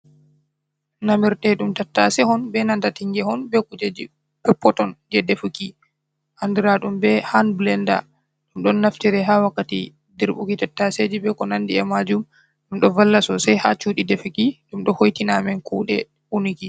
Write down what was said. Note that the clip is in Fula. Namirteɗum tattase on be nanta tinge on beh kujeji peppoton je defuki andiraɗum be hanbilenda ɗum naftire ha wakkati dirbuki tattaseji be ko nandi a majum ɗum ɗoh valla sosai ha shuɗi defuki ɗum ɗoh hoitina meɗen kuɗe unuki.